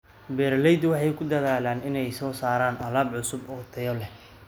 Beeraleydu waxay ku dadaalaan inay soo saaraan alaab cusub oo tayo leh.